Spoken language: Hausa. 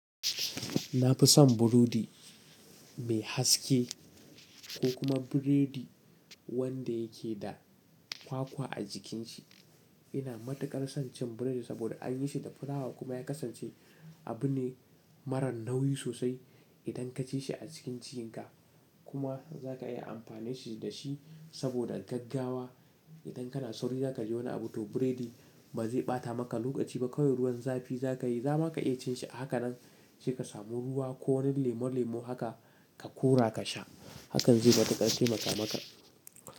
Na fi son burodi mai haske ko kuma biredi wanda yake da kwakwa a jikin shi. Ina matuƙar son cin biredi saboda an yi shi da filawa kuma ya kasance abu ne marar nauyi sosai idan ka ci shi a cikin jikinka, kuma za ka iya amfanishi da shi saboda gaggawa. Idan kana sauri za ka je wani abu to biredi ba zai ɓata maka lokaci ba. Kawa iruwan zafi za ka yi, za ma ka iya cin shi a haka nan sai ka samu ruwa ko wani lemo lemo haka ka kora ka sha. Hakan zai matuƙar temaka maka.